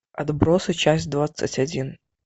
отбросы часть двадцать один